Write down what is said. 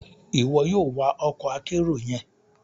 Iwọ yoo wa ọkọ akero yẹn!